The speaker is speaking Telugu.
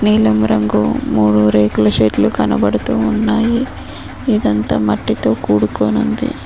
నీలం రంగు మూడు రేకుల షెడ్లు కనబడుతు ఉన్నాయి ఇదంతా మట్టితో కూడుకోనుంది.